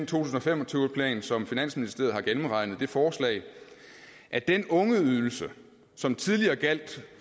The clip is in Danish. tusind og fem og tyve plan som finansministeren har gennemregnet fremsendt det forslag at den ungeydelse som tidligere gjaldt